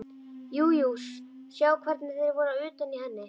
Jú jú, sjá hvernig þeir voru utan í henni.